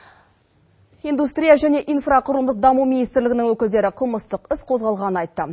индустрия және инфрақұрылымдық даму министрлігінің өкілдері қылмыстық іс қозғалғанын айтты